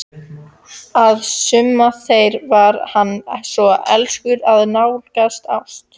Að sumum þeirra var hann svo elskur að nálgaðist ást.